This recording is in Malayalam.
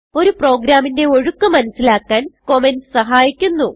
ഒരു പ്രോഗ്രാമിന്റെ ഒഴുക്ക് മനസിലാക്കാൻ കമന്റ്സ് സഹായിക്കുന്നു